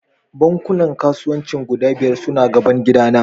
Bankunan kasuwanci guda biyar suna gaban gidana